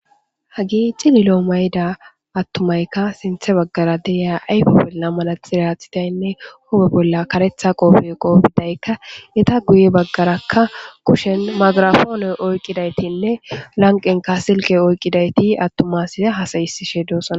Ha giicci lilo mayda attumaykka sinthe baggara deiya ayfopelna malaxireathitaynne hobe bolla karetha qoofe qobidaykka eta guye baggarakka kushen magirafoone oyqidaytinne lanqenka silqe oyqqidayti attumaside hasayisishe doosana.